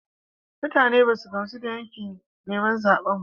Mutane ba su gamsu da yakin neman zaben ba.